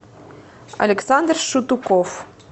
александр шутуков